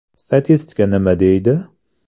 Statistika nima deydi?.